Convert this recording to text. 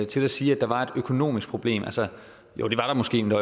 til at sige at der var et økonomisk problem jo det var der måske men